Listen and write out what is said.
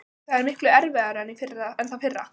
Maður getur veitt skjól og nært það sem er veikburða.